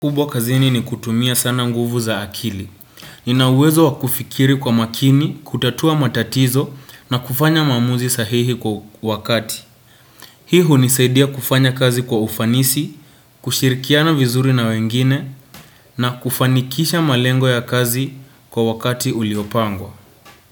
Kubwa kazini ni kutumia sana nguvu za akili. Nina uwezo wa kufikiri kwa makini, kutatua matatizo na kufanya maamuzi sahihi kwa wakati. Hii hunisaidia kufanya kazi kwa ufanisi, kushirikiana vizuri na wengine na kufanikisha malengo ya kazi kwa wakati uliopangwa.